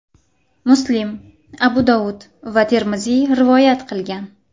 Muslim, Abu Dovud va Termiziy rivoyat qilgan.